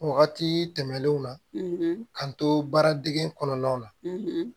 Wagati tɛmɛnenw na k'an to baara dege kɔnɔnaw na